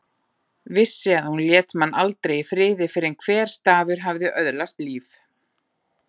Vissi að hún lét mann aldrei í friði fyrr en hver stafur hafði öðlast líf.